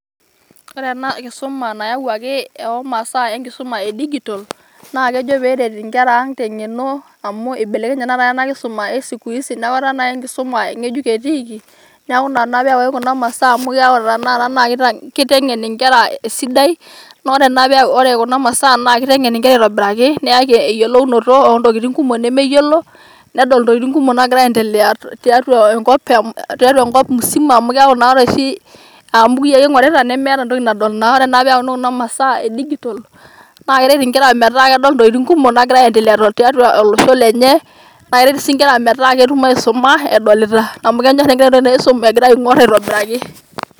wore enakisuma nayauaki omasaa na enkisuma edigital na kejo peret inkera ang tengeno amu eibelekenye natoi enakisuma esiku hisi neaku naa enkisuma ngejuk etiiki neaku naa peyauaki kuna masaa amu keyau tanakata neaku kitengen inkera esidai na wore kuna masaa na kiteng'en nkera aitobiraki neyaki eyiolounoto ontokiting kumok nemeyiolo nedol intokiting' kumok nagira aiendelea tiatua enkop musima amu keaku natoi mbukui ake ing'orita neaku metaa entoki nadol kake wore naa peyauni kuna masaa edigital na keret inkera metaa kedol intokiting' kumok nagira aiendelea tiatua olosho lenye na keret sii nkera metaa ketumoki aisuma edolita amu kenyorr inkera enisum egira aing'or aitobiraki